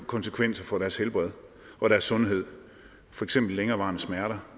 konsekvenser for deres helbred og deres sundhed for eksempel længerevarende smerter